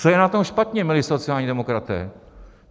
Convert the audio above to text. Co je na tom špatně, milí sociální demokraté?